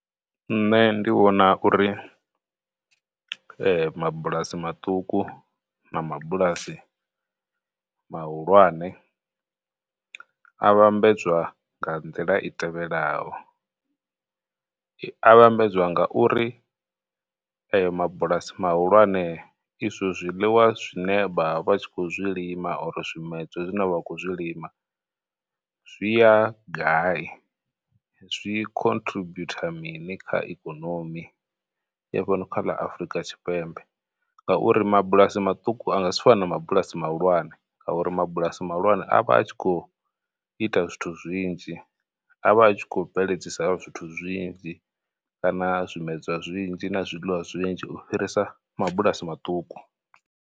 Nṋe ndi vhona uri mabulasi maṱuku na mabulasi mahulwane a vhambedzwa nga nḓila i tevhelaho, a vhambedzwa nga u ri eyo mabulasi mahulwane izwo zwiḽiwa zwine vha vha vha tshi khou zwi lima zwimedzwa zwine vha khou zwi lima zwi ya gai, zwi mini kha ikonomi ya fhano kha ḽa Afurika Tshipembe, ngauri mabulasi maṱuku a nga si fane na mabulasi mahulwane ngauri mabulasi mahulwane avha a tshi khou ita zwithu zwinzhi. A vha a tshi khou bveledzisa zwithu zwinzhi kana zwimedzwa zwinzhi na zwiḽiwa zwinzhi u fhirisa mabulasi maṱuku.